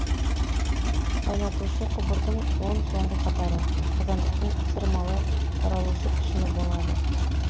қайнатушы құбырдың он соңғы қатары қазандықтың ысырмалы таралушы пішіні болады